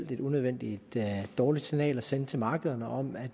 det er et unødvendigt dårligt signal at sende til markederne om at